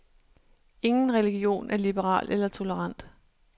Ingen religion er liberal eller tolerant.